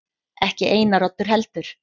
Ekki Einar Oddur heldur.